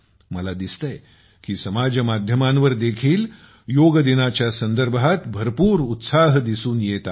मला दिसतंय की समाज माध्यमांवर देखील योग दिनाच्या संदर्भात भरपूर उत्साह दिसून येतो आहे